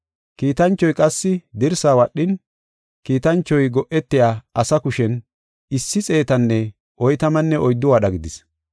Kiitanchoy qassi dirsaa wadhin, kiitanchoy go7etiya asa kushen issi xeetanne oytamanne oyddu wadha gidis.